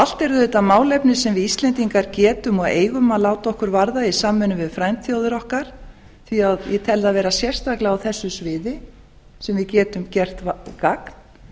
allt eru þetta málefni sem við íslendingar getum og eigum að láta okkur varða í samvinnu við frændþjóðir okkar því að ég tel það vera sérstaklega á þessu sviði sem við getum gert gagn